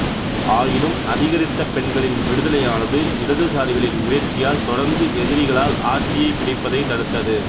ஆயினும் அதிகரித்த பெண்களின் விடுதலையானது இடதுசாரிகளின் முயற்சியால் தொடர்ந்து எதிரிகளால் ஆட்சியைப் பிடிப்பதைத் தடுத்தது